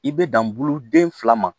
I bɛ dan bulu den fila ma